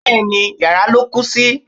Bẹ́ẹ̀ni, yàrá ló kú sí.